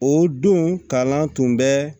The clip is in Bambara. O don kalan tun bɛ